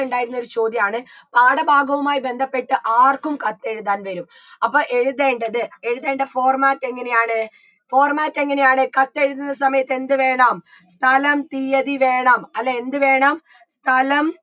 ഇണ്ടായിരുന്ന ഒരു ചോദ്യാണ് പാഠ ഭാഗവുമായി ബന്ധപ്പെട്ട് ആർക്കും കത്തെഴുതാൻ വരും അപ്പൊ എഴുതേണ്ടത് എഴുതേണ്ട format എങ്ങനെയാണ് format എങ്ങനെയാണ് കത്തെഴുതുന്ന സമയത്ത് എന്തു വേണം സ്ഥലം തീയ്യതി വേണം അല്ലേ എന്ത് വേണം സ്ഥലം